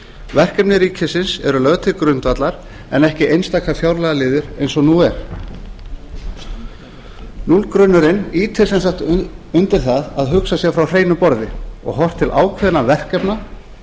verkefni ríkisins eru lögð til grundvallar en ekki einstaka fjárlagaliðir eins og nú er núllgrunnurinn ýtir sem sagt undir það að hugsað sé frá hreinu borði og horft til ákveðinna verkefna